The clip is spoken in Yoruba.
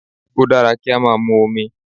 O dára kí á máa mu omi.